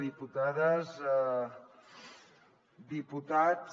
diputades diputats